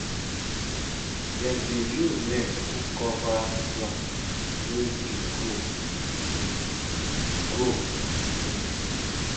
um dem dey use net to cover plant wey dey grow um grow um